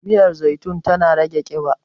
miyar zaitun tana rage kiba